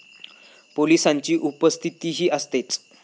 पोलिसांची उपस्थितीही असतेच.